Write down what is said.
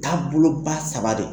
Taaboloba saba do.